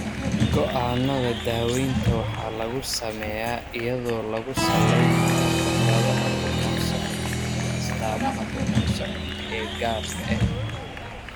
Go'aannada daawaynta waxaa lagu sameeyaa iyadoo lagu salaynayo khibradaha bukaan-socodka iyo astaamaha bukaan-socodka ee gaarka ah.